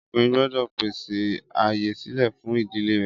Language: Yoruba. Ọkùnrin gbọ́dọ̀ pèsè ààyè sílè fún ìdílé rẹ̀